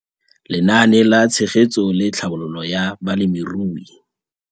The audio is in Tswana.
Lenaane la Tshegetso le Tlhabololo ya Balemirui